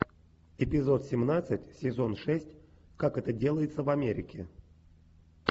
эпизод семнадцать сезон шесть как это делается в америке